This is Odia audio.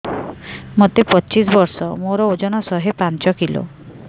ମୋତେ ପଚିଶି ବର୍ଷ ମୋର ଓଜନ ଶହେ ପାଞ୍ଚ କିଲୋ